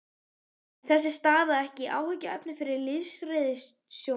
En er þessi staða ekki áhyggjuefni fyrir lífeyrissjóðina?